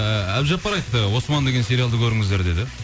ііі әбдіжаппар айтты осман деген сериалды көріңіздер деді